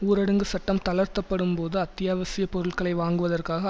ஊரடங்கு சட்டம் தளர்த்த படும் போது அத்தியாவசிய பொருட்களை வாங்குவதற்காக